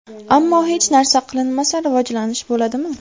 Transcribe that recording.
Ammo hech narsa qilinmasa, rivojlanish bo‘ladimi?